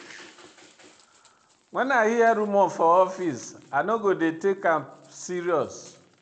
Wen I hear rumor for office, I no dey take am serious.